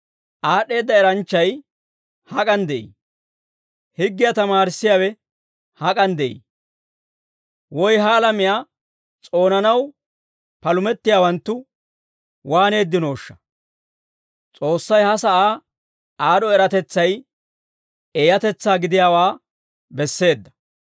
Aad'd'eedda eranchchay hak'an de'ii? Higgiyaa tamaarissiyaawe hak'an de'ii? Woy ha alamiyaa s'oonanaw palumettiyaawanttu waananddinooshsha? S'oossay ha sa'aa aad'd'o eratetsay eeyatetsaa gidiyaawaa besseedda!